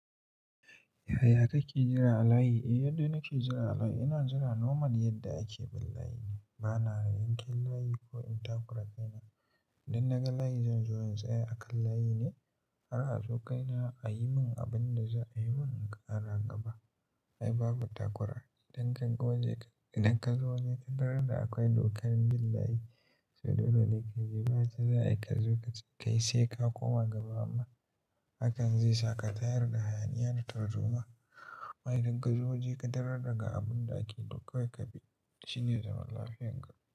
Yaya kake jira a layi? Eh, yanda nake jira a layi, ina jira normal yadda ake bin layi ne. Bana yanke layi ko in takura kaina. Idan naga layi zan zo, in tsaya a kan layi ne, har a zo kaina ayi min abin da za'ayi mun in ƙara gaba. Ai babu takura. Idan ka zo waje ka tarar da akwai dokar bin layi, so dole ka bi bayar da za'ayi kazo kace kai sai ka koma gaba amma, hakan zai sa ka tayar da hayaniya da tarzoma. Amma idan ka zo waje ka tardaga abunda ake to kawai kabi shine zaman lafiyarka.